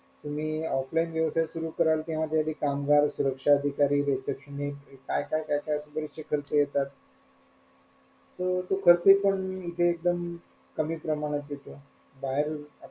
तुम्ही offline व्यवसाय सुरु कराल किंवा त्याआधी कामगार सुरक्षा अधिकारी ते काय काय काय काय बरेच विकल्प येतात तो खर्च पण इथे एकदम कमी प्रमाणात येतो बाहेर,